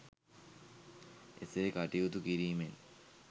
එසේ කටයුතු කිරීමෙන්